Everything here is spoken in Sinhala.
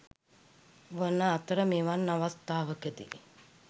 වන අතර මෙවන් අවස්ථාවකදී